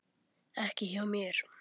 Ekki hjá mér.